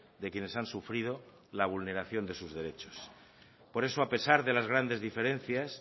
de quienes han sufrido la vulneración de sus derechos por eso a pesar de las grandes diferencias